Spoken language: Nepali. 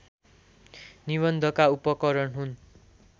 निबन्धका उपकरण हुन्